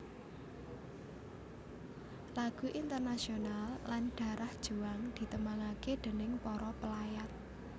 Lagu Internationale lan Darah Juang ditembangaké déning para pelayat